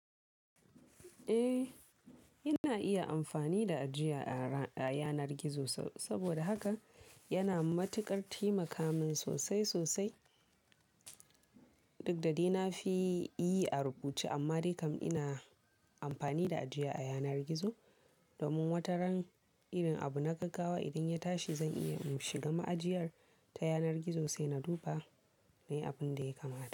Eh, ina iya amfani da ajiya a ra, a yanar gizo saboda haka yana matuƙar taimaka min sosai sosai. Duk da dai na fi yi a rubuce amma dai kam ina amfani da ajiya a yanar gizo domin wataran irin abu na gaggawa idan ya tashi zan iya in shiga ma'ajiyar ta yanar gizo sai na duba. Nai abun da ya kamata.